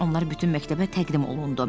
Onlar bütün məktəbə təqdim olundu.